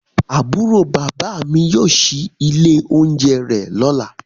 Aburo baba mi yóò ṣii ile ounjẹ rẹ lọla.